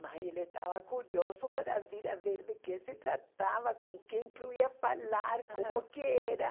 Mas ele estava curioso para vir a ver de que se tratava, com quem que eu ia falar, como que era.